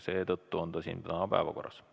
Seetõttu on see täna päevakorras.